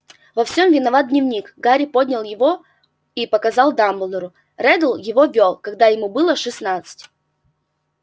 во всём виноват дневник гарри поднял его и показал дамблдору реддл его вёл когда ему было шестнадцать